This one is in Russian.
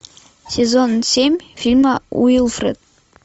сезон семь фильма уилфред